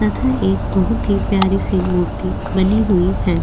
तथा एक बहुत ही प्यारी सी मूर्ति बनी हुई है।